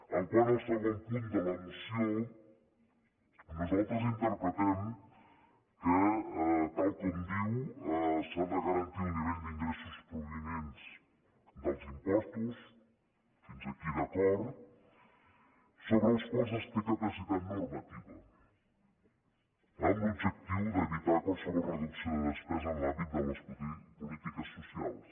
quant al segon punt de la moció nosaltres interpretem que tal com diu s’ha de garantir el nivell d’ingressos provinents dels impostos fins aquí d’acord sobre els quals es té capacitat normativa amb l’objectiu d’evitar qualsevol reducció de despesa en l’àmbit de les polítiques socials